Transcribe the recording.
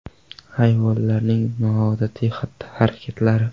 Hayvonlarning noodatiy xatti-harakatlari.